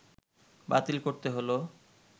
বাতিল করতে হল